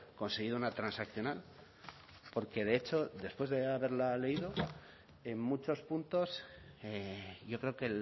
conseguido una transaccional porque de hecho después de haberla leído en muchos puntos yo creo que